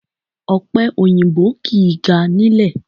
Ọ̀pẹ òyìnbó kìí ga nílè